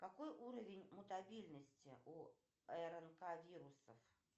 какой уровень мутабельности у рнк вирусов